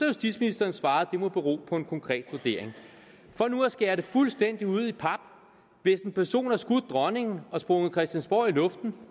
justitsministeren svaret det må bero på en konkret vurdering for nu at skære det fuldstændig ud i pap hvis en person har skudt dronningen og sprunget christiansborg i luften